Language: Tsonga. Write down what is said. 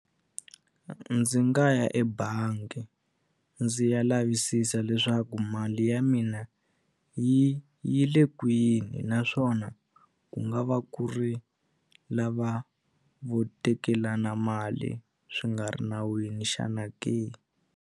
Ndzi nga ya ebangi ndzi ya lavisisa leswaku mali ya mina yi yi le kwini naswona ku nga va ku ri lava vo tekelana mali swi nga ri nawini xana ke.